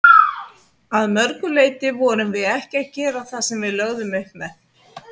Að mörgu leiti vorum við ekki að gera það sem við lögðum upp með.